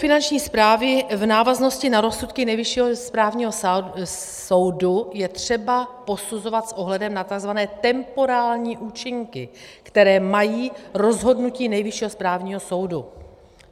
Finanční správy v návaznosti na rozsudky Nejvyššího správního soudu je třeba posuzovat s ohledem na tzv. temporální účinky, které mají rozhodnutí Nejvyššího správního soudu.